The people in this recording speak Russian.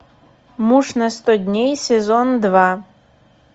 муж на сто дней сезон два